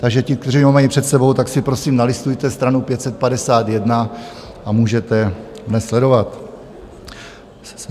Takže ti, kteří ho mají před sebou, tak si prosím nalistujte stranu 551 a můžete dnes sledovat.